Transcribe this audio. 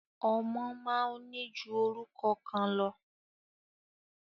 Ọmọ máa ń ní ju orúkọ kan lọ.